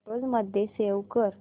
photos मध्ये save कर